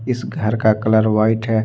इस घर का कलर व्हाइट है।